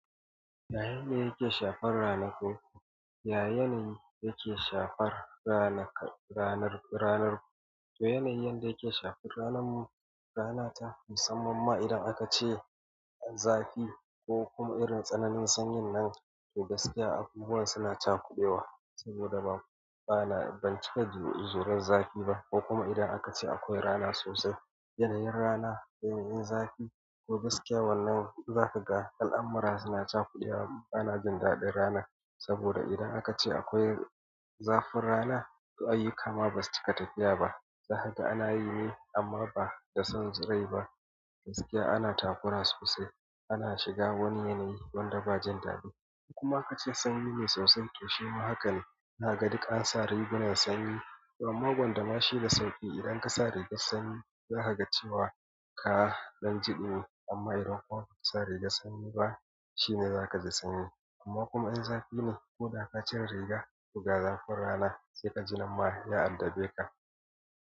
Ya yanayi da yake shafar ranaku, ya yanayi yake shafar ranar ku? To yanayi yadda yake shafar ranar mu, rana ta, musamman ma idan aka ce zafi ko kuma irin tsananin sanyin nan, to gaskiya abubuwa suna cakude wa. Saboda bana, ban cika jurar zafi ba. Ko kuma idan aka ce akwai rana sosai, yanayin rana, yanayin zafi to gaskiya wannan zaka ga al'amura suna cakude wa bana jin daɗin rana. Saboda idan aka ce akwai zafin rana to ayyuka ma basu cika tafiya ba. Don haka ana yi ne amma ba da son rai ba. Gaskiya ana takura sosai ana shiga wani yanayi wanda ba jin daɗi. Kuma aka ce sanyi ne sosai to shi ma haka ne. Zaka ga duk an sa rigunan sanyi, to amma gwanda ma shi da sauƙi idan ka sa rigar sanyi za kaga cewa ka ɗan ji ɗumi, amma idan kuma ba ka sa rigar sanyi ba, shine zaka ji sanyi. Amma kuma in zafi ne ko da ka cire riga, ta ga zafin rana. Sai ka ji nan ma ya addabe ka.